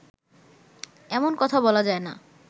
এমন কথা বলা যায় না